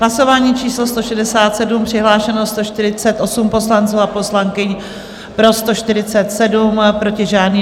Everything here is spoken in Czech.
Hlasování číslo 167, přihlášeno 148 poslanců a poslankyň, pro 147, proti žádný.